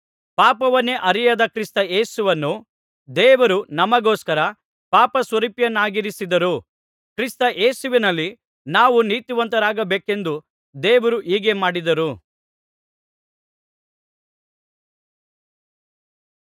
ಪಾಪವನ್ನೇ ಅರಿಯದ ಕ್ರಿಸ್ತ ಯೇಸುವನ್ನು ದೇವರು ನಮಗೋಸ್ಕರ ಪಾಪಸ್ವರೂಪಿಯನ್ನಾಗಿಸಿದರು ಕ್ರಿಸ್ತ ಯೇಸುವಿನಲ್ಲಿ ನಾವು ನೀತಿವಂತರಾಗಬೇಕೆಂದು ದೇವರು ಹೀಗೆ ಮಾಡಿದರು